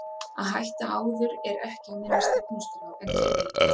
Að hætta áður er ekki á minni stefnuskrá en hver veit?